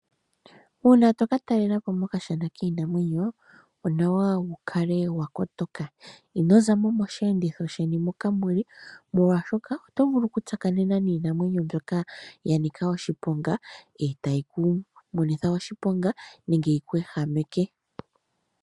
Uuna toka talela po mokashana kiinamwenyo onawa wu kale wa kotoka. Ino zamo mosheenditho sheni moka muli molwaashoka oto vulu oku tsakanena niinamwenyo mbyoka ya nika oshiponga e ta yi ku monitha oshiponga nenge yiku ehameke.